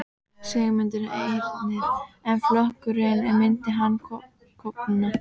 Sigmundur Ernir: En flokkurinn, myndi hann klofna?